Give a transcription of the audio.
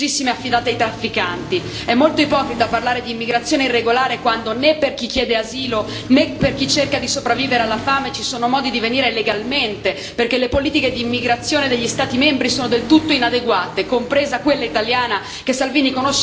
È molto ipocrita parlare di immigrazione irregolare quando né per chi chiede asilo né per chi cerca di sopravvivere alla fame ci sono modi di venire legalmente, perché le politiche di immigrazione degli Stati membri sono del tutto inadeguate, compresa quella italiana, che l'on. Salvini conosce bene perché si chiama Bossi Fini.